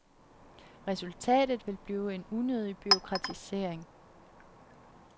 Resultatet vil blive en unødig bureaukratisering.